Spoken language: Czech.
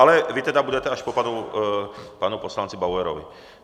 Ale vy tedy budete až po panu poslanci Bauerovi.